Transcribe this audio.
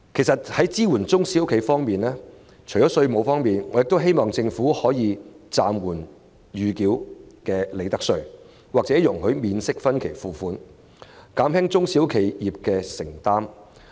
在支援中小企方面，除了稅務寬減，我希望政府容許暫緩繳付暫繳利得稅或容許免息分期付款，以減輕中小企業的負擔。